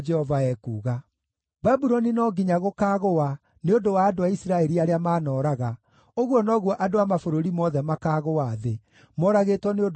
“Babuloni no nginya gũkaagũa nĩ ũndũ wa andũ a Isiraeli arĩa maanooraga, ũguo noguo andũ a mabũrũri mothe makaagũa thĩ, moragĩtwo nĩ ũndũ wa Babuloni.